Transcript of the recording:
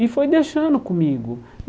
E foi deixando comigo.